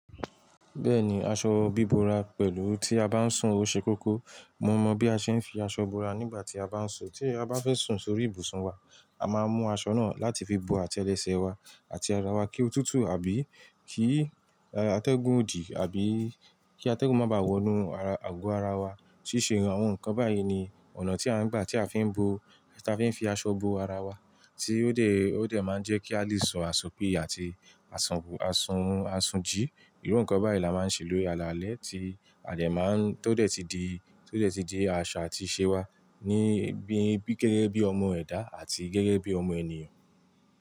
Bẹ́ẹ̀ni, aṣọ bíbora pẹ̀lú tí a bá ń sun òṣèkókó, mo mọ̀ bí a ṣe ń fi aṣọ bora nígbà tí a bá ń sun, tí a bá fẹ́ sun sórí ibùsùn wa, a máa mú aṣọ náà láti fi bo àtẹlẹsẹ̀ wa àti ara wa kí otútù àbí kí atẹ́gùn ò dì àbí kí atẹ́gùn má bá wọnú àgò ara wa. Síṣe àwọn nǹkan báyìí ni ọ̀nà tí a ń gbà tí a fi ń bo, tí a fi ń fi aṣọ bo ara wa tí ó dẹ̀, ó dẹ̀ máa ń jẹ́ kí a lè sọ àsùn pí àti àsùn, àsùn, àsùn jí. Irú nǹkan báyìí la máa ń ṣe lórí alalẹ́ tí a lè máa ń tó dé tí di, tó dé tí di àṣà àti ìṣe wa níbí gẹ́gẹ́ bí ọmọ ẹ̀dá àti gẹ́gẹ́ bí ọmọ ènìyàn.